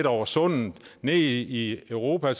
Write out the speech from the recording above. over sundet og ned i europa